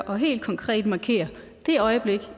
og helt konkret markere det øjeblik